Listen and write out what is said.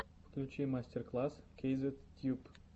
включи мастер класс кейзет тьюб